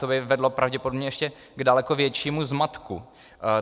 To by vedlo pravděpodobně k ještě daleko většímu zmatku.